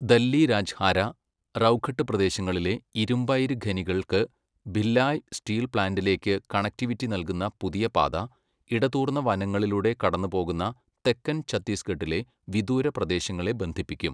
ദല്ലി രാജ്ഹാര, റൗഘട്ട് പ്രദേശങ്ങളിലെ ഇരുമ്പയിര് ഖനികൾക്ക് ഭിലായ് സ്റ്റീൽ പ്ലാന്റിലേക്ക് കണക്റ്റിവിറ്റി നൽകുന്ന പുതിയ പാത, ഇടതൂർന്ന വനങ്ങളിലൂടെ കടന്നുപോകുന്ന തെക്കൻ ഛത്തീസ്ഗഡിലെ വിദൂര പ്രദേശങ്ങളെ ബന്ധിപ്പിക്കും.